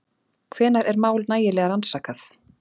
Hvenær er mál nægilega rannsakað?